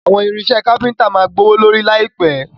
Àwọn irinṣẹ́ káfíntà máa gbówó lórí láìpẹ̀.